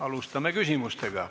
Alustame küsimustega.